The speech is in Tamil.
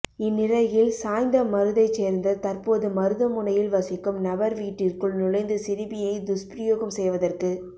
இந்நிலையில் சாய்ந்தமருதைச் சேர்ந்த தற்போது மருதமுனையில் வசிக்கும் நபர்வீட்டிற்குள் நுழைந்து சிறுமியை துஸ்பிரயோகம் செய்வதற்க்கு